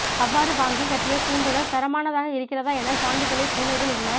அவ்வாறு வாங்கி கட்டிய கூண்டுகள் தரமானதாக இருக்கிறதா என சான்றிதழை புணேவில் உள்ள